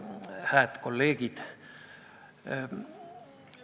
Hääd kolleegid!